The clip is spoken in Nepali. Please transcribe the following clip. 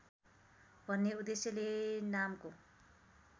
भन्ने उद्देश्यले नामको